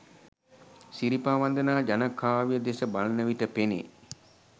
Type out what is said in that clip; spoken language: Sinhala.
සිරිපා වන්දනා ජනකාව්‍ය දෙස බලන විට පෙනේ.